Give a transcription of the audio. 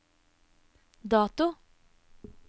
dato